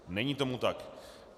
Není tomu tak.